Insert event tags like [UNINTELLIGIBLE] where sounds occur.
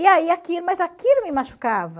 E aí [UNINTELLIGIBLE] mas aquilo me machucava.